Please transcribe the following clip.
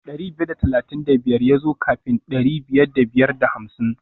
Dari biyar da talatin da biyar ya zo kafin dari biyar da biyar da hamsin